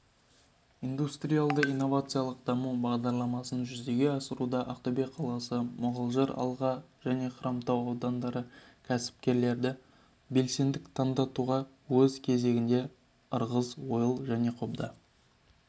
индустриялды-инновациялық даму бағдарламасын жүзеге асыруда ақтөбе қаласы мұғалжар алға және хромтау аудандарының кәсіпкерлері белсенділк танытуда өз кезегінде ырғыз ойыл және қобда